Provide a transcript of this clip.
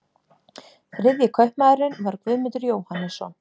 Þriðji kaupmaðurinn var Guðmundur Jóhannesson.